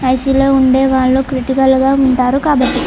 ICU లో ఉండవళ్లు. Critical గ ఉంటారు కాబట్టి--